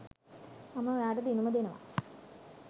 මම ඔයාට දිනුම දෙනව